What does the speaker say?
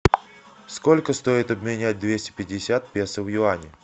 сколько стоит обменять двести пятьдесят песо в юани